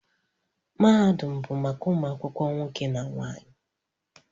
Mahadum bụ maka ụmụ akwụkwọ nwoke na nwaanyị